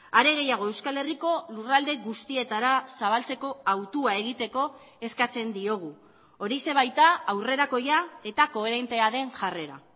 are gehiago euskal herriko lurralde guztietara zabaltzeko hautua egiteko eskatzen diogu horixe baita aurrerakoia eta koherentea den jarrera